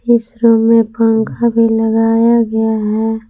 इस रूम में पंखा भी लगाया है।